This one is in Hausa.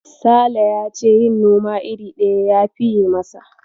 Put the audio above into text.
Sale ya ce yin noma iri ɗaya ya fiye masa.